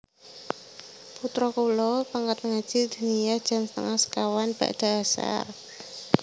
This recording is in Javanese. Putro kulo pangkat ngaji diniyah jam setengah sekawan bada asar